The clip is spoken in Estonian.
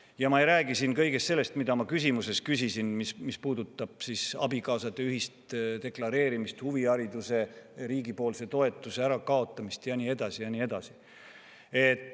Ja ma ei räägi siin kõigest sellest, mida ma küsimuses küsisin, mis puudutab abikaasade ühist maksude deklareerimist, huvihariduse toetuse ärakaotamist ja nii edasi ja nii edasi.